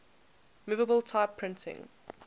movable type printing